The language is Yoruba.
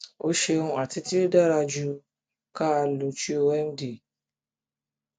o ṣeun ati ti o dara ju o dara ju ka luchuo md